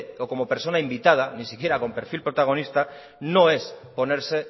o como persona invitada ni siquiera con perfil protagonista no es ponerse